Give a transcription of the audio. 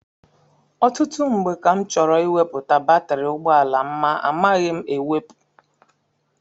Ọtụtụ mgbe ka m chọrọ iweputa batiri ụgbọala m ma amaghị m ewepu.